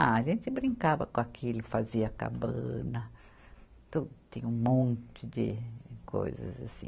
Ah, a gente brincava com aquilo, fazia cabana, to tinha um monte de coisas assim.